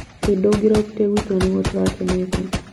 I ndũngĩrokire gwitu na nĩguo turakenete